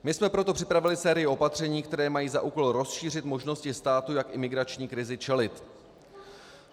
My jsme proto připravili sérii opatření, která mají za úkol rozšířit možnosti státu, jak imigrační krizi čelit.